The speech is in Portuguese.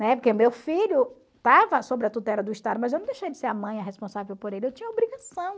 Né? Porque meu filho estava sob a tutela do Estado, mas eu não deixei de ser a mãe a responsável por ele, eu tinha a obrigação.